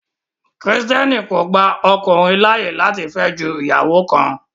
Christianity only allows a man to marry one wife